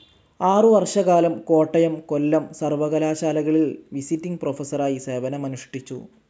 ആറുവർഷകാലം കോട്ടയം, കൊല്ലം സർവകലാശാലകളിൽ വിസിറ്റിങ്‌ പ്രൊഫസറായി സേവനമനുഷ്ഠിച്ചു.